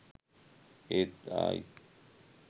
ඒත් ආයිත් .